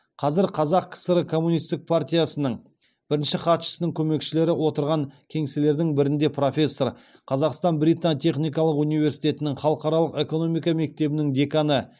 қазір қазақ кср коммунистік партиясының бірінші хатшысының көмекшілері отырған кеңселердің бірінде профессор қазақстан британ техникалық университетінің халықаралық экономика мектебінің деканы